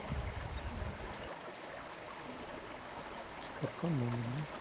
Çünki elə-belə, o elə-belə durub, nə bilim nəsə düzəldəcək filan.